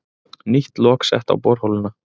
Nýtt lok sett á borholuna